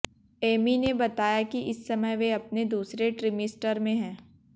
Amy ने बताया कि इस समय वे अपने दूसरे ट्रिमिस्टर में हैं